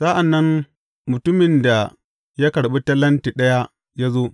Sa’an nan mutumin da ya karɓi talenti ɗaya ya zo.